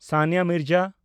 Sania Mirza